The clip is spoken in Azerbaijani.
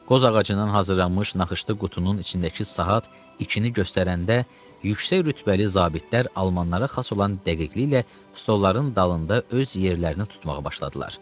Qoz ağacından hazırlanmış naxışlı qutunun içindəki saat ikini göstərəndə yüksək rütbəli zabitlər almanlara xas olan dəqiqliklə stolların dalında öz yerlərini tutmağa başladılar.